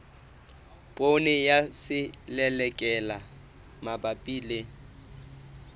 poone ya selelekela mabapi le